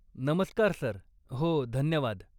नमस्कार सर. हो, धन्यवाद.